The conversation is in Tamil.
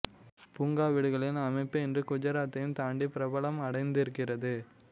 புங்கா வீடுகளின் அமைப்பு இன்று குஜராத்தையும் தாண்டிப் பிரபலம் அடைந்திருக்கிறது